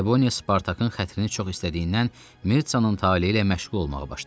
Trebonia Spartakın xətrini çox istədiyindən Mirtsanın taleyi ilə məşğul olmağa başladı.